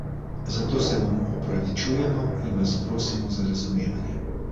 Za to se vam opravičujemo in vas prosimo za razumevanje!